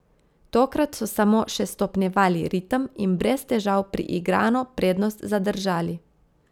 Tokrat so samo še stopnjevali ritem in brez težav priigrano prednost zadržali.